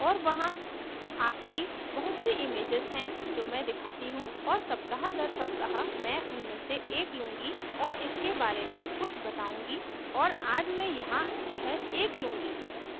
और वहां आपकी बहुत say images हैं जो मैं दिखाती हूँ और सप्ताहदरसप्ताह मैं उनमें से एक लूंगी और इसके बारे में कुछ बताउंगी और आज मैं यहाँ यह एक लूंगी